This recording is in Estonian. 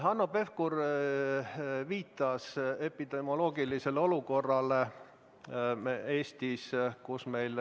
Hanno Pevkur viitas epidemioloogilisele olukorrale Eestis.